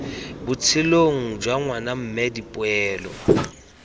botshelong jwa ngwana mme dipoelo